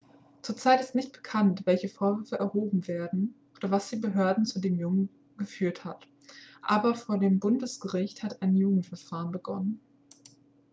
zur zeit ist nicht bekannt welche vorwürfe erhoben werden oder was die behörden zu dem jungen geführt hat aber vor dem bundesgericht hat ein jugendverfahren begonnen